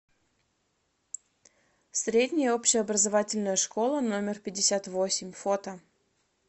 средняя общеобразовательная школа номер пятьдесят восемь фото